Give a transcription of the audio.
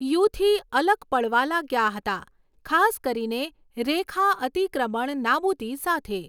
યુથી અલગ પડવા લાગ્યા હતા, ખાસ કરીને રેખા અતિક્રમણ નાબૂદી સાથે.